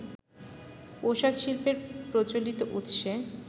পোশাকশিল্পের প্রচলিত উৎসে